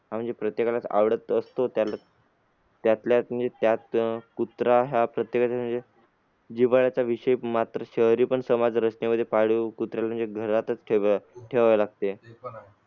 आह म्हणजे प्रत्येकालाच आवडत असतो त्यातल्या त्यात म्हणजे कुत्रा हा प्रत्येकाचा जिव्हाळ्याचा विषय मात्र शहरी पण समाज रचनेमध्ये पाळीव कुत्रे पण घरातच ठेवावे ठेवावे लागते.